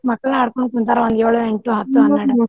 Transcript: ಮಕ್ಕಳ್ನ ಹಡ್ಕೊಂತ ಕುಂತಾರ ಏಳು, ಎಂಟು, .